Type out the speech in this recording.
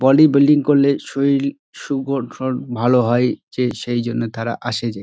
Bodybuilding করলে শরীর সুবদ্ধন ভালো হয় যে সেই জন্যে তারা আসে যে।